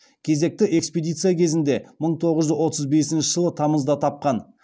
кезекті экспедиция кезінде мың тоғыз жүз отыз бесінші жылы тамызда тапқан